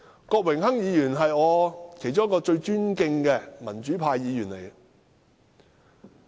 郭榮鏗議員是我最尊敬的民主派議員之一。